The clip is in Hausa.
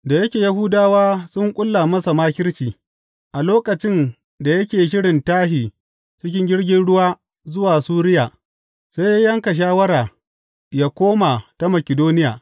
Da yake Yahudawa sun ƙulla masa makirci, a lokacin da yake shirin tashi cikin jirgin ruwa zuwa Suriya, sai ya yanka shawara yă koma ta Makidoniya.